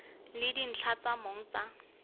le dintlha tsa mong tsa